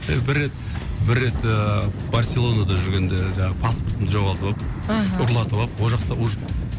бір рет бір рет ыыы барселонада жүргенде жаңағы паспортымды жоғалтып алып аха ұрлатып алып ол жақта